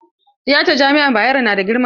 Tiyatan jami'ar Bayero na da girma?